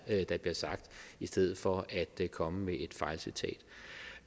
der bliver sagt i stedet for at komme med et fejlcitat